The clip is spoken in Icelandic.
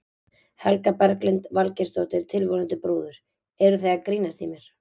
Helga Berglind Valgeirsdóttir, tilvonandi brúður: Eruð þið að grínast í mér?